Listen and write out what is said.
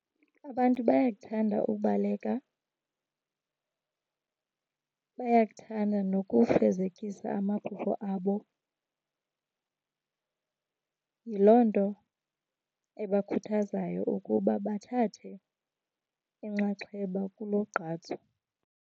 Abantu bayakuthanda ubaleka, bayakuthanda nokufezekisa amaphupha abo, yiloo nto ebakhuthazayo ukuba bathathe inxaxheba kulo gqatso.